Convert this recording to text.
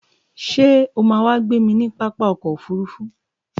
Ṣé o máa wá gbémi ní pápá ọkọ̀ òfurufú?